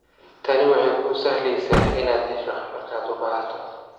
Tani waxay kuu sahlaysaa inaad hesho markaad u baahato.